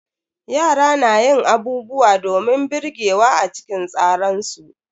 Yara na yin abubuwa domin birgewa a cikin tsaran su.